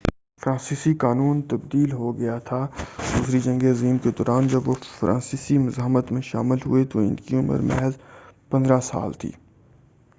فرانسیسی قانون تبدیل ہو گیا تھا دوسری جنگ عظیم کے دوران جب وہ فرانسیسی مزاحمت میں شامل ہوئے تو ان کی عمر محض 15 سال تھی